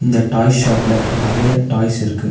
இந்த டாய்ஸ் ஷாப்ல நெறைய டாய்ஸ் இருக்கு.